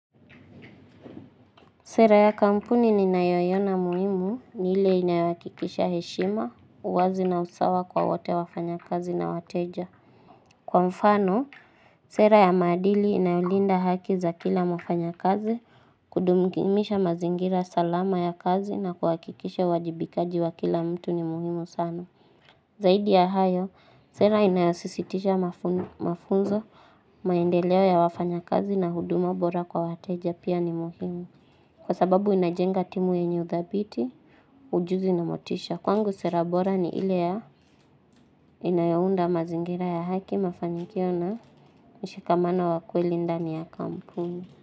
Sera ya kampuni ni nayoiona muhimu ni ile inayohakikisha heshima, uwazi na usawa kwa wote wafanya kazi na wateja. Kwa mfano, sera ya maadili inayolinda haki za kila mafanyakazi, kudumisha mazingira salama ya kazi na kuhakikisha uwajibikaji wa kila mtu ni muhimu sana. Zaidi ya hayo, sera inayosisitisha mafunzo, maendeleo ya wafanya kazi na huduma bora kwa wateja pia ni muhimu. Kwa sababu inajenga timu yenye uthabiti, ujuzi na motisha. Kwangu sera bora ni ile ya inayounda mazingira ya haki mafanikio na mshikamano wa kweli ndani ya kampuni.